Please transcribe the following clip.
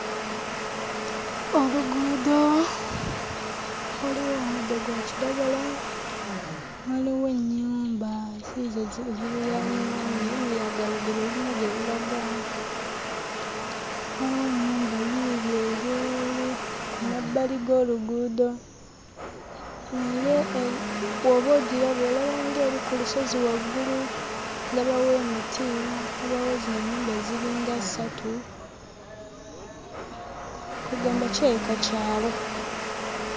Oluguudo, waliwo omuddo gwa kiragala, waliwo ennyumba ziizo ziriraanyeewo, naye lulaga oluguudo lulina gye lulaga, waliwo ennyumba yiiyo eri eri, ku mabbali g'oluguudo naye bw'oba ogiraba olaba ng'eri ku lusozi waggulu, ndabawo emiti, ndabawo zino ennyumba ziringa ssatu kwe ggamba kirabika kyalo.